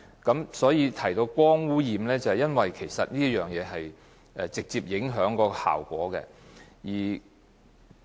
我提到光污染是因為這直接影響到節能效果。